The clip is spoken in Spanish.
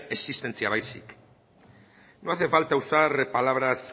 existentzia baizik no hace falta usar palabras